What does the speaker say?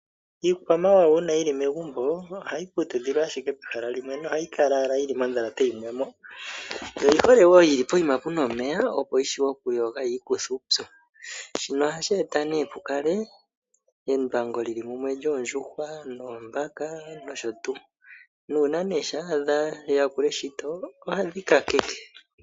Iikwamawawa uuna yili megumbo ohayi putudhilwa ashike pehala limwe, ohayi kala owala yili moodhalate yimwe mo, yo oyi hole woo poshiima puma omeya opo yi vule oku yoga yiikuthe uupyu, shino ohashi e ta nee embwangu limwe lyoondjuhwa, noombaka nosho tuu. Nuuna nee shampa wa adha dha yakula eshito ohadhi kaleke.